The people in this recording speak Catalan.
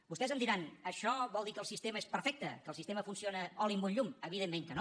vostès em diran això vol dir que el sistema és perfecte que el sistema funciona oli en un llum evidentment que no